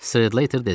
Strater dedi.